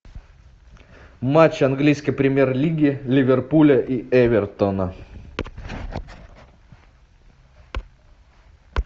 матч английской премьер лиги ливерпуля и эвертона